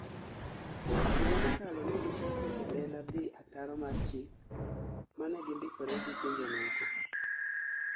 Higa mokalo negichako e lela dhi ataro mar chik manegindikore gi pinje moko